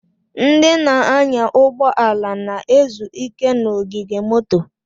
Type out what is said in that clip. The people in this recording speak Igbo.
Ndị na-anya ụgbọ ala na-ezu ike n'ogige moto.